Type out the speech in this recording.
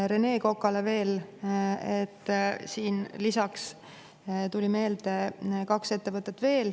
Rene Kokale veel: lisaks tuli mulle meelde veel kaks ettevõtet.